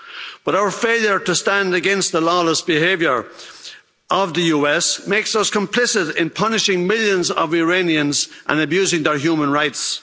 But our failure to stand against the lawless behaviour of the US makes us complicit in punishing millions of Iranians and abusing their human rights.